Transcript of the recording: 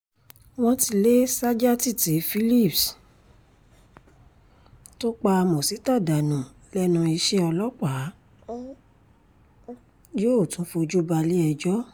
wọ́n ti lé sajátítì philipps tó pa mozita dànù lẹ́nu iṣẹ́ ọlọ́pàá yóò tún fojú balẹ̀-ẹjọ́